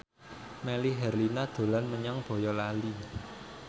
Melly Herlina dolan menyang Boyolali